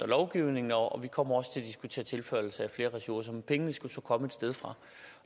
lovgivningen og vi kommer også til at diskutere tilførsel af flere ressourcer men pengene skal så komme et sted fra